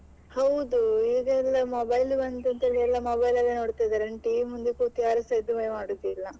ಹೌದು ಈಗ ಎಲ್ಲಾ mobile ಬಂತು ಅಂತ ಹೇಳಿ ಎಲ್ಲಾ mobile ಲಲ್ಲಿ ನೋಡ್ತಿದ್ದಾರೆ ಇನ್ನು TV ಮುಂದೆ ಕೂತು ಯಾರು ಸ ಇದುವೇ ಮಾಡುದಿಲ್ಲ.